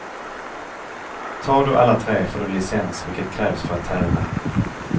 Tar du alla tre får du licens vilket krävs för att tävla.